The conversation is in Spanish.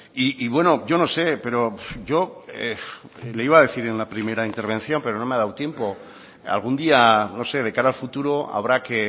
y bueno yo no sé pero yo le iba a decir en la primera intervención pero no me ha dado tiempo algún día no sé de cara al futuro habrá que